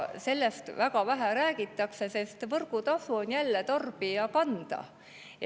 Sellest väga vähe räägitakse, sest võrgutasu on jälle tarbija kanda.